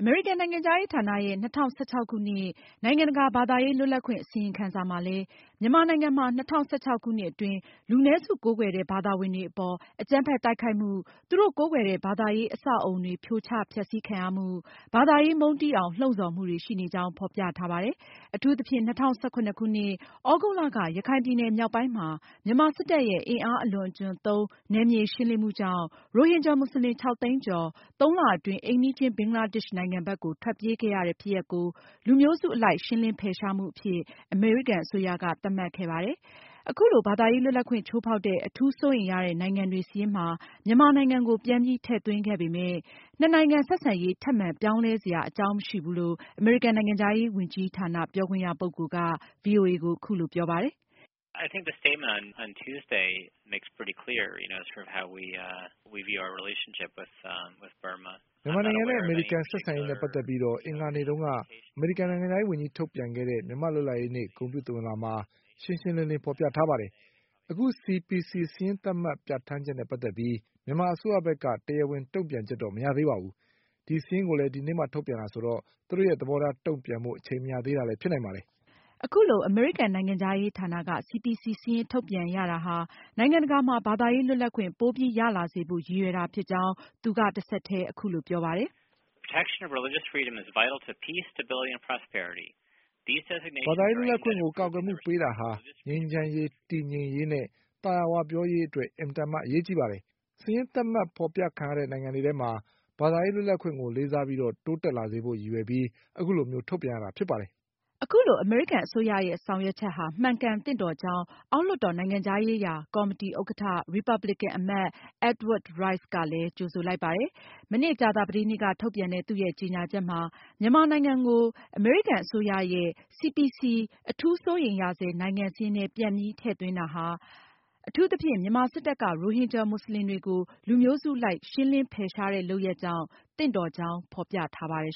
အမေရိကန် နိုင်ငံခြားရေးဌာနရဲ့ ၂၀၁၆ ခုနှစ် နိုင်ငံတကာ ဘာသာရေး လွတ်လပ်ခွင့် အစီရင်ခံစာမှာလည်း မြန်မာနိုင်ငံမှာ၂၀၁၆ ခုနှစ်အတွင်း လူနည်းစုကိုးကွယ်တဲ့ ဘာသာဝင်တွေ အပေါ် အကြမ်းဖက် တိုက်ခိုက်မှု၊ သူတို့ ကိုးကွယ်တဲ့ ဘာသာရေး အဆောက်အဦးတွေ ဖြိုချဖျက်စီးခံရမှု၊ ဘာသာရေး မုန်းတီးအောင် လှုံဆော်မှုတွေ ရှိနေကြောင်း ဖေါ်ပြထားပါတယ်။ အထူးသဖြင့် ၂၀၁၇ခုနှစ် သြဂုတ်လက ရခိုင်ပြည်နယ်မြောက်ပိုင်းမှာ မြန်မာစစ်တပ်ရဲ့ အင်အားအလွန်အကျွံသုံးနယ်မြေရှင်းလင်းမှုကြောင့်ရိုဟင်ဂျာမွတ်စလင် ၆ သိန်းကျော် သုံးလအတွင်း အိမ်နီးချင်း ဘင်္ဂလားဒေ့ရှ်နိုင်ငံဘက်ကို ထွက်ပြေးခဲ့ရတဲ့ ဖြစ်ရပ်ကို လူမျိုးစုအလိုက်ရှင်းလင်းဖယ်ရှားမှုအဖြစ် အမေရိကန်အစိုးရ သတ်မှတ်ခဲ့တာပါ။ ဒါကြောင့်လည်း အခု ၂၀၁၇ခုနှစ် ဘာသာရေးလွတ်လပ်ခွင့် ချိူးဖောက်တဲ့ အထူးစိုးရိမ်ရတဲ့ နိုင်ငံတွေစာရင်းမှာ မြန်မာနိုင်ငံကို ပြန်ပြီး ထည့်သွင်းခဲ့ပေမယ့် နှစ်နိုင်ငံ ဆက်ဆံရေး ထပ်မံပြောင်းလဲစရာအကြောင်းမရှိဘူးလို့ အမေရိကန်နိုင်ငံခြားရေး ဝန်ကြီးဌာန ပြောခွင့်ရပုဂ္ဂိုလ်က ပြောပါတယ်။ "မြန်မာနိုင်ငံအပေါ် အမေရိကန်ဆက်ဆံရေးနဲ့ ပတ်သက်လို့ အင်္ဂါနေ့က အမေရိကန်နိုင်ငံခြားရေး ဝန်ကြီးထုတ်ပြန်ခဲ့တဲ့ မြန်မာ့လွတ်လပ်ရေးနေ့ ဂုဏ်ပြုသဝဏ်လွှာမှာ ရှင်းရှင်းလင်း လင်းဖေါ်ပြထားပါတယ်။ အခု CPC စာရင်းသတ်မှတ်ပြဌာန်းချက်နဲ့ ပတ်သက်လို့ မြန်မာအစိုးရဘက်က တရားဝင် တုန့်ပြန်ချက်မရသေးပါဘူး။ ဒီစာရင်းကိုလည်း ဒီကနေ့မှ ထုတ်ပြန်တာဆိုတော့ သူတို့ရဲ့ သဘောထား တုန့်ပြန်ဖို့ အချိန်မရသေးတာလည်းဖြစ်နိုင်ပါတယ်။" အခုလို အမေရိကန်နိုင်ငံခြားရေးဌာနက CPC စာရင်းထုတ်ပြန်ရတာဟာ နိုင်ငံတကာမှာ ဘာသာရေးလွတ်လပ်ခွင့် ပိုပြီး ရလာစေဖို့ရည်ရွယ်တာဖြစ်ကြောင်း သူကတဆက်တည်း အခုလို ပြောပါတယ်။ "ဘာသာရေးလွတ်လပ်ခွင့်ကို ကာကွယ်မှုပေးတာဟာ ငြိမ်းချမ်းရေး၊ တည်ငြိမ်ရေးနဲ့ သာယာဝပြောရေးအတွက် အလွန်အင် မတန်မှ အရေးပါပါတယ်။ စာရင်း သတ်မှတ်ဖေါ်ပြခံရတဲ့ နိုင်ငံတွေမှာ ဘာသာရေးလွတ်လပ်ခွင့်ကို လေးစားပြီး တိုးတက်လာစေဖို့ ရည်ရွယ်ပြီး အခုလို ထုတ်ပြန်ရတာဖြစ်ပါတယ်။" အမေရိကန်အစိုးရရဲ့ ဆောင်ရွက်ချက်ဟာ မှန်ကန်သင့်တော်ကြောင်း အောက်လွှတ်တော်နိုင်ငံခြားရေးရာ ကော်မတီဥက္ကဌ ရီပါပလင်ကန်အမတ် Edward Royce ကလည်း ကြိုဆိုလိုက်ပါတယ်။ မနေ့ ကြာသာပတေးနေ့က ထုတ်ပြန်တဲ့ သူရဲ့ကြေညာချက်မှာ မြန်မာနိုင်ငံကို CPC လို့ခေါ်တဲ့ အထူးစိုးရိမ်နေရဆဲ နိုင်ငံစာရင်းထဲ ပြန်ပြီးထည့်သွင်းတာဟာ အထူးသဖြင့် မြန်မာစစ်တပ်က ရိုဟင်ဂျာမွတ်စလင်တွေ ကို လူမျိုးစု အလိုက်ရှင်းလင်းဖယ်ရှားတဲ့လုပ်ရပ်ကြောင့် သင့်တော်ကြောင်း ဖေါ်ပြထားပါတယ်